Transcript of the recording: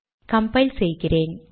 compile செய்கிறேன்